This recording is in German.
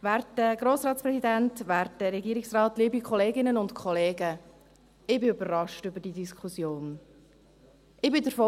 – Werter Grossratspräsident, werter Regierungsrat, liebe Kolleginnen und Kollegen, ich bin von dieser Diskussion überrascht.